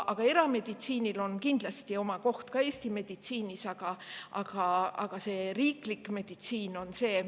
Erameditsiinil on kindlasti oma koht ka Eesti meditsiinis, aga riiklik meditsiin on.